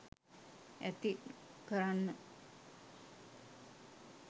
ඇති කරන්න.